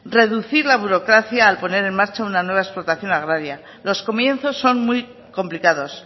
reducir la burocracia al poner en marcha una nueva explotación agraria los comienzos son muy complicados